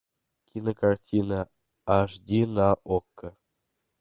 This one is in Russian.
кинокартина аш ди на окко